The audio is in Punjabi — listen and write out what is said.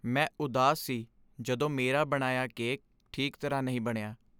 ਮੈਂ ਉਦਾਸ ਸੀ ਜਦੋਂ ਮੇਰਾ ਬਣਾਇਆ ਕੇਕ ਠੀਕ ਤਰ੍ਹਾਂ ਨਹੀਂ ਬਣਿਆ।